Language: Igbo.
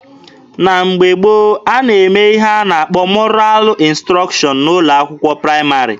Na mgbe gboo, a na-eme ihe a na-akpọ 'mọral ịnstrọkshọn' n'ụlọ akwụkwọ praịmarị.